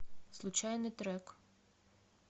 случайный трек